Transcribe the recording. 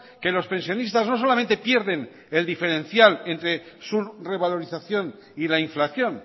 que los pensionistas no solamente pierden el diferencial entre su revalorización y la inflación